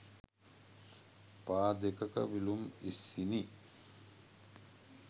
පා දෙකක විලූම් ඉස්සිණි.